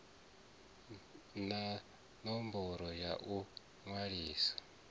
na ṋomboro ya u ṅwalisa